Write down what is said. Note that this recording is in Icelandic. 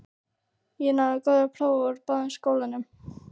Ég náði góðu prófi úr báðum skólum.